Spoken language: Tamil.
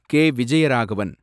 கே. விஜயராகவன்